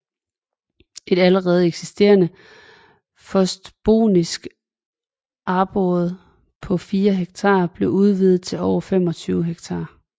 Et allerede eksisterende forstbotanisk arboret på 4 ha blev udvidet til over 25 ha